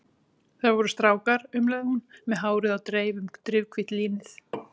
Það voru strákar, umlaði hún með hárið á dreif um drifhvítt línið.